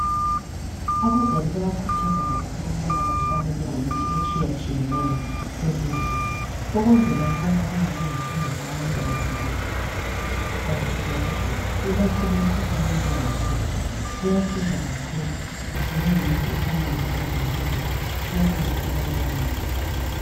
Abazali bayakuthazwa kakhulu ukuthi bahlale ezindlini ukuzela ukubana kungabi lenkinga nxa abantwana sebeqalisile ukugula ikakhulu imkhuhlane enjengo phepha. Kuyasiza kakhulu njengemithi efana labo benyline iyanceda ebantwaneni kakhulu